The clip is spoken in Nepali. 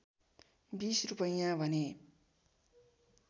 २० रूपैयाँ भने